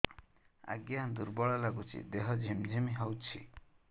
ଆଜ୍ଞା ଦୁର୍ବଳ ଲାଗୁଚି ଦେହ ଝିମଝିମ ହଉଛି